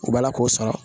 U b'a la k'o sara